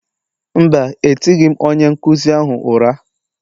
Mba, etighị m onye nkụzi ahụ ụra.